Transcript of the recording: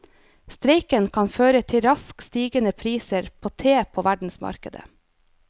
Streiken kan føre til raskt stigende priser på te på verdensmarkedet.